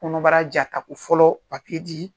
Kɔnɔbara ja ka ko fɔlɔ di